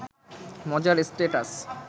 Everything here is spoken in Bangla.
মজার স্ট্যাটাস